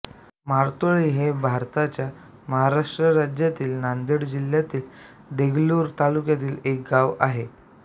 मारतोळी हे भारताच्या महाराष्ट्र राज्यातील नांदेड जिल्ह्यातील देगलूर तालुक्यातील एक गाव आहे